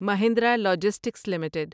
Mahindra logistics limited